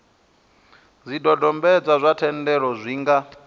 zwidodombedzwa zwa thendelo zwi nga